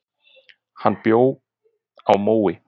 Hann bjó á Mói.